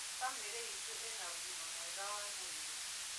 Bamĩrĩ itũ ĩna ũgĩma mwega wa mwĩrĩ